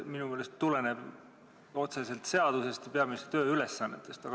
Minu meelest tuleneb see otseselt seadusest ja peaministri tööülesannetest.